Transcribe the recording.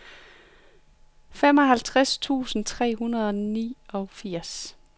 femoghalvtreds tusind tre hundrede og niogfirs